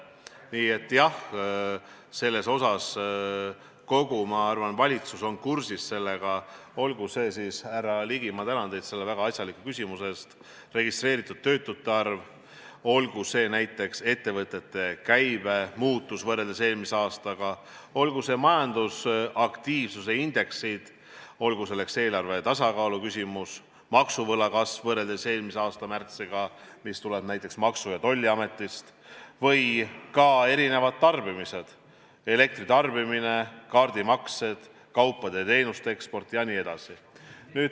Nii et jah, ma arvan, kogu valitsus on kursis nendega, olgu see siis – härra Ligi, ma tänan teid selle väga asjaliku küsimuse eest – registreeritud töötute arv, olgu see näiteks ettevõtete käibe muutus võrreldes eelmise aastaga, olgu need majandusaktiivsuse indeksid, olgu selleks eelarve tasakaalu küsimus, maksuvõla kasv võrreldes eelmise aasta märtsiga või ka tarbimine , kaupade ja teenuste eksport jne.